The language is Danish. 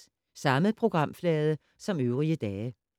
Samme programflade som øvrige dage